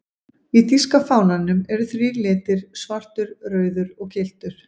Í þýska fánanum eru þrír litir, svartur, rauður og gylltur.